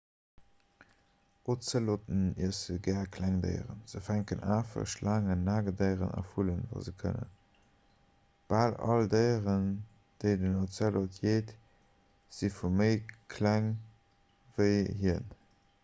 ozelotten iesse gär kleng déieren se fänken afen schlaangen nagedéieren a vullen wa se kënnen bal all déieren déi den ozelot jeet si vill méi kleng ewéi hien